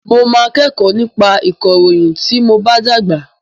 Mo máa kẹ́kọ̀ọ́ nípa ìkọ̀ròyìn tí mob á dàgbà.